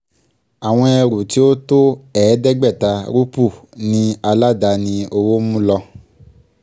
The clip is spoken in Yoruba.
àwọn ẹrù tí ó tó ẹ̀ẹ́dẹ́gbàta rúpù ni aládàáni òwò mú lọ